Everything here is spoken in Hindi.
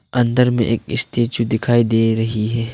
अंदर में एक स्टैचू दिखाई दे रही है।